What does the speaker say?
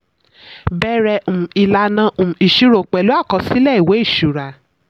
bẹrẹ um ìlànà um ìṣirò pẹ̀lú àkọsílẹ̀ ìwé ìṣura.